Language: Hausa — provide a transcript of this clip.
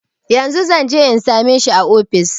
Yanzun zanje in same shi a ofis